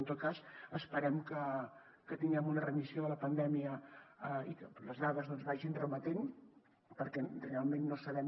en tot cas esperem que tinguem una remissió de la pandèmia i que les dades vagin remetent perquè realment no sabem